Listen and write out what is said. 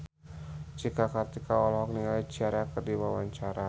Cika Kartika olohok ningali Ciara keur diwawancara